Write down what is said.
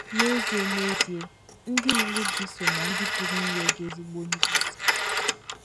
N’ezie N’ezie, ndị mụrụ gị so ná ndị pụrụ inye gị ezigbo nduzi.